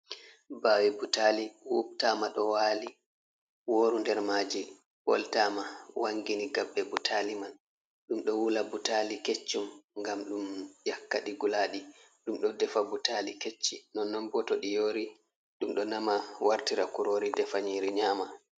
Bawe butali wubtama ɗo wali, woru nder majil ɓoltama wangini gabbe butali man, ɗum ɗo wula butali keccum ngam ɗum yakka, ɗi guladi ɗum ɗo defa butali kecci, nonnon bo to ɗi yori ɗum ɗo nama wartira kurori defa nyiri nyama.